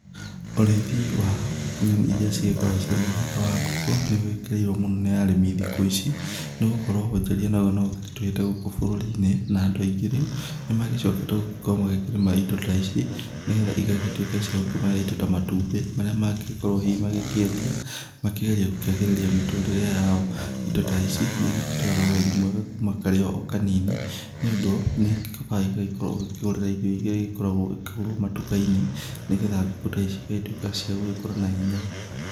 Ũrĩithi wa nyoni ĩrĩa cigĩkoragwo cirĩ mũthemba wa ngũkũ nĩ ũgĩkĩrĩirwo mũno nĩ arĩmi thikũ ici nĩgũkorwo wonjoria nagũo no ũkĩrĩtuhĩte gũkũ bũrũri-inĩ na andũ aingĩ rĩu nĩ magĩcokete gũkorwo makĩrĩma indo ta ici nĩgetha igagĩtuĩka cia gũkĩmahe indo ta matumbĩ marĩa mangĩkorwo hihi magĩkĩendia makĩgerie mĩtũrĩre yao. Indo ta ici nĩ igĩbataraga ũreri mwega kuma karĩ o kanini nĩ ũndũ nĩkaba ĩgagĩkorwo ũgĩkĩgũrĩra irio irĩa igĩkoragwo ikĩgũrwo matuka-inĩ nĩgetha ngũkũ ta ici ĩgagĩtuĩka cia gũgĩkũra na hinya.